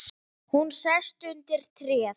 Hún sest undir tréð.